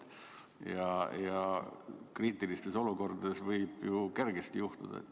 Ja kriitilistes olukordades võib see kergesti juhtuda.